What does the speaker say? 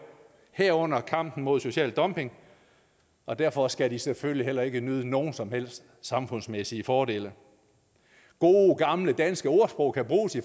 herunder kampen mod social dumping og derfor skal de selvfølgelig heller ikke nyde nogen som helst samfundsmæssige fordele gode gamle danske ordsprog kan bruges i